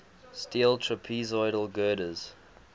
steel trapezoidal girders